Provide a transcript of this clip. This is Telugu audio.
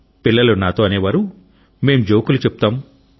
పిల్లలు నాతో అనేవారు మేం జోకులు చెప్తాం